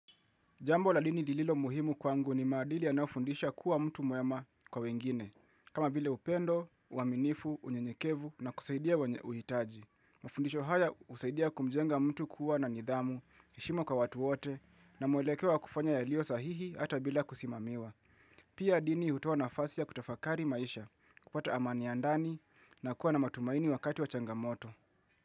Jambo la dini lililo muhimu kwangu ni maadili yanaofundishwa kuwa mtu mwema kwa wengine, kama vile upendo, uaminifu, unyenyekevu na kusaidia kuhitaji. Mafundisho haya husaidia kumjenga mtu kuwa na nidhamu, heshima kwa watu wote na muelekeo wa kufanya yaliyo sahihi hata bila kusimamiwa. Pia dini hutua nafasi ya kutafakari maisha, kupata amani ya ndani na kuwa na matumaini wakati wa changamoto.